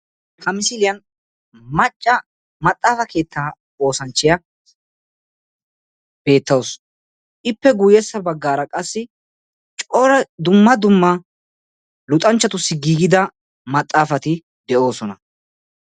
Ha misiliyan macca maxaafaa keettaa oosanchchiya beettawus. Ippe guyyessa baggaara qassi cora dumma dumma luxanchchatussi giigida maxaafati de'oosona.